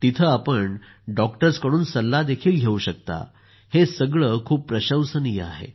तेथे आपण डॉक्टर्सकडून सल्लाही घेऊ शकता हे खूप प्रशंसनीय आहे